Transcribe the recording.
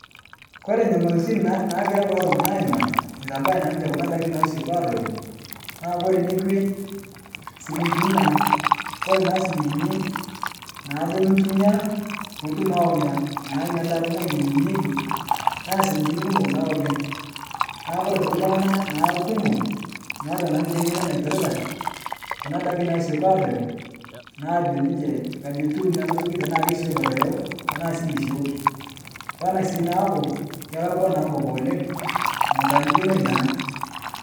Kore nyamaltin nagira kulo tung'ana aimaa eitabaya naa ninche kuna daki nasioki aaroyo, naa kore nekwe, silinkini naa, kore naa silinkini naaduo nitumiyaa piitum awa nia naa nia daa ng'oji neyeunyeki naa silinkini kumok naa oleng' naaku kore aitoki ltung'ana naa lkumo meata naa ninche ng'eno naipirita kuna daki naasioki aaroyo naa ajo ninche aji etiu ana toki, tanaa kesioki aroyo tanaa sii mesioki. Onaa sii naaku kelakwa naa nkop oleng' metaanikinoi naa.